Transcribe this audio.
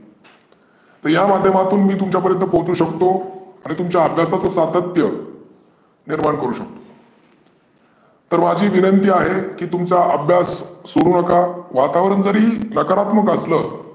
तर या माध्यमातून मी तुमच्या पर्यंत पोहचू शकतो. आणि तुमच्या अभ्यासाचे सातत्य निर्मान करू शकतो. तर माझी विनंनती आहे तुमचा अभ्यास सोडू नका वातावरण जरी नकारात्मक असलं